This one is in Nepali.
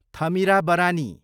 थमिराबरानी